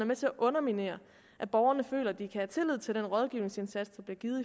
med til at underminere at borgerne føler at de kan have tillid til den rådgivningsindsats der bliver givet